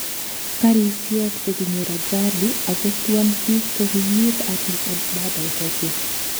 Garishek chekinyor ajali akostuan piik kokikiip Addis Ababa Ethiopia